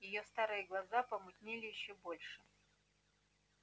её старые глаза помутнели ещё больше